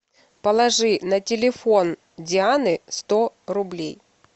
положи на телефон дианы сто рублей